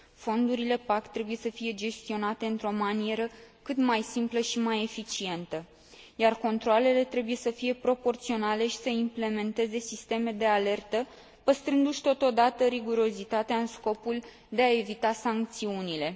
Fondurile PAC trebuie să fie gestionate într o manieră cât mai simplă și mai eficientă, iar controalele trebuie să fie proporționale și să implementeze sisteme de alertă, păstrându și totodată rigurozitatea în scopul de a evita sancțiunile.